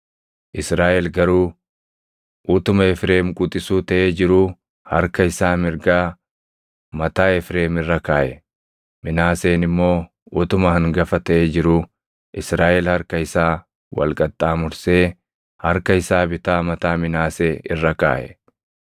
Israaʼel garuu utuma Efreem quxisuu taʼee jiruu harka isaa mirgaa mataa Efreem irra kaaʼe; Minaaseen immoo utuma hangafa taʼee jiruu Israaʼel harka isaa wal qaxxaamursee harka isaa bitaa mataa Minaasee irra kaaʼe.